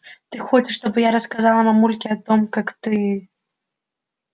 ты хочешь чтобы я рассказала мамульке о том как ты